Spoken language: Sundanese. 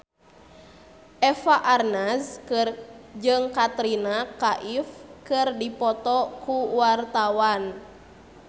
Eva Arnaz jeung Katrina Kaif keur dipoto ku wartawan